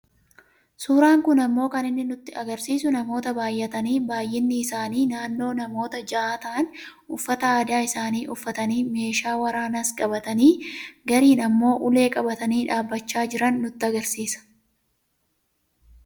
Suuraan kun ammoo kan inni nutti agarsiisu namoota baayyatanii baayyinni isaanii naannoo namoota ja'aa ta'an uffata aadaa isaanii uffatanii meeshaa waraanaas qabatanii gariin ammoo ulee qabatanii dhaabbachaa jiran nutti agarsiisa.